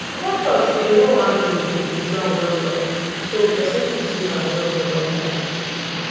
papa talk say hoe handle suppose long well well so person fit use am well for long time